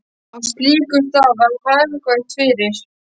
Á slíkum stað var hagkvæmt fyrir